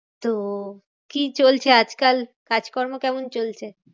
তো কি চলছে আজকাল? কাজকর্ম কেমন চলছে?